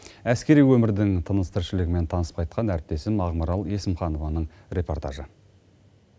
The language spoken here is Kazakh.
әскери өмірдің тыныс тіршілігімен танысып қайткан әріптесім ақмарал есімханованың репортажы